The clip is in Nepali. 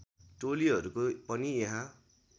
टोलीहरूको पनि यहाँ